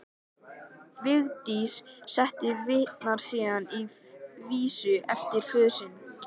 Vigdís forseti vitnar síðan í vísu eftir föður sinn